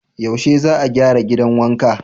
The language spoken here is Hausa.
Yaushe za a gyara gidan wankan?